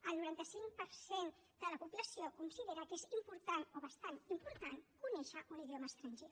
el noranta cinc per cent de la població considera que és important o bastant important conèixer un idioma estranger